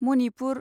Manipur